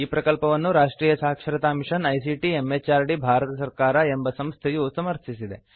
ಈ ಪ್ರಕಲ್ಪವನ್ನು ರಾಷ್ಟ್ರಿಯ ಸಾಕ್ಷರತಾ ಮಿಷನ್ ಐಸಿಟಿ ಎಂಎಚಆರ್ಡಿ ಭಾರತ ಸರ್ಕಾರ ಎಂಬ ಸಂಸ್ಥೆಯು ಸಮರ್ಥಿಸಿದೆ